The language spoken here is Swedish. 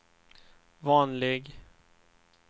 vanlig